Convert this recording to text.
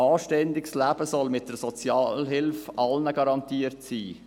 Ein anständiges Leben soll mit der Sozialhilfe allen garantiert sein.